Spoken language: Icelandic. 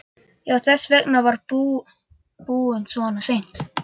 Já, þess vegna var hann búinn svona seint.